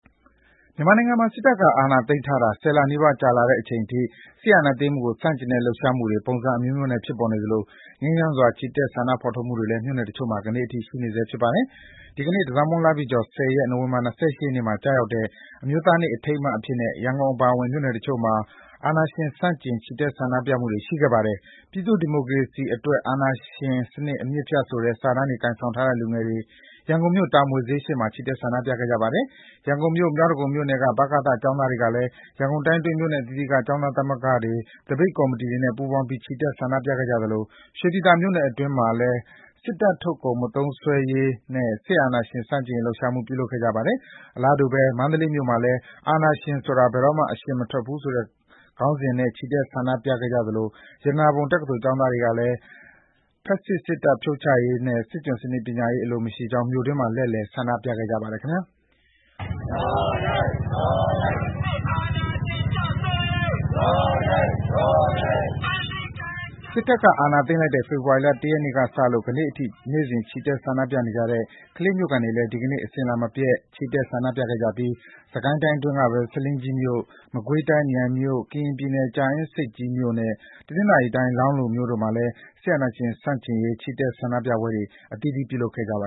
မြန်မာနိုင်ငံမှာ စစ်တပ်က အာဏာသိမ်းထားတာ ၁၀ လနီးပါး ကြာလာတဲ့အချိန်အထိ စစ်အာဏာသိမ်းမှုကို ဆန့်ကျင်တဲ့ လှုပ်ရှားမှုတွေ ပုံစံအမျိုးမျိုးနဲ့ ဖြစ်ပေါ်နေသလို ငြိမ်းချမ်းစွာ ချီတက် ဆန္ဒဖော်ထုတ်မှုတွေလည်း မြို့နယ်တချို့မှာ ယနေ့အထိ ရှိနေဆဲ ဖြစ်ပါတယ်။ ဒီကနေ့ တန်ဆောင်မုန်းလပြည့်ကျော် ၁၀ ရက်၊ နိုဝင်ဘာ ၂၈ ရက်နေ့မှာ ကျရောက်တဲ့ အမျိုးသားနေ့ အထိမ်းအမှတ်အဖြစ်နဲ့ ရန်ကုန်အပါအဝင် နယ်မြို့တချို့မှာ စစ်အာဏာရှင်ဆန့်ကျင် ချီတက် ဆန္ဒပြမှုတွေ ရှိခဲ့ပါတယ်။ “ပြည်သူ့ဒီမိုကရေစီအတွက် အာဏာရှင်စနစ် အမြစ်ဖြတ်” ဆိုတဲ့ စာတန်းတွေ ကိုင်ဆောင်ထားတဲ့ လူငယ်တွေက ရန်ကုန်မြို့၊ တာမွေဈေးရှေ့မှာ ချီတက် ဆန္ဒပြခဲ့ကြပါတယ်။ ရန်ကုန်မြို့၊ မြောက်ဒဂုံမြို့နယ်က ဗကသ ကျောင်းသားတွေကလည်း ရန်ကုန်တိုင်းအတွင်း မြို့နယ်အသီးသီးက ကျောင်းသားသမဂ္ဂတွေ၊ သပိတ်ကော်မတီတွေနဲ့ ပူးပေါင်းပြီး ချီတက် ဆန္ဒပြခဲ့ကြသလို ရွှေပြည်သာမြို့နယ်အတွင်းမှာလည်း စစ်တပ်ထုတ်ကုန် မသုံးစွဲရေးနဲ့ စစ်အာဏာရှင် ဆန့်ကျင်ရေး လှုပ်ရှားမှု ပြုလုပ်ခဲ့ကြပါတယ်။ အလားတူပဲ မန္တလေးမြို့မှာလည်း “အာဏာရှင်ဆိုတာ ဘယ်တော့မှ အရှင်မထွက်ဘူး” ဆိုတဲ့ခေါင်းစဉ်နဲ့ ချီတက် ဆန္ဒပြခဲ့ကြသလို ရတနာပုံတက္ကသိုလ် ကျောင်းသားတွေကလည်း “ဖက်စစ် စစ်တပ် ဖြုတ်ချရေးနဲ့ စစ်ကျွန်ပညာရေး အလိုမရှိ” ကြောင်း မန္တလေးမြို့တွင်း လှည့်လည် ဆန္ဒပြခဲ့ကြပါတယ်။ စစ်တပ်က အာဏာသိမ်းလိုက်တဲ့ ဖေဖော်ဝါရီလ ၁ ရက်နေ့ကစလို့ ယနေ့အထိ နေ့စဉ် ချီတက် ဆန္ဒပြနေတဲ့ ကလေးမြို့ခံတွေလည်း ဒီကနေ့ အစဉ်အလာမပျက် ချီတက် ဆန္ဒပြခဲ့ကြပြီး စစ်ကိုင်းတိုင်းအတွင်းကပဲ ဆားလင်းကြီးမြို့၊ မကွေးတိုင်း မြိုင်မြို့၊ ကရင်ပြည်နယ် ကြာအင်းဆိပ်ကြီးမြို့နဲ့ တနင်္သာရီတိုင်း လောင်းလုံမြို့တို့မှာလည်း စစ်အာဏာရှင်ဆန့်ကျင်ရေး ချီတက် ဆန္ဒပြပွဲတွေ အသီးသီး ပြုလုပ်ခဲ့ကြပါ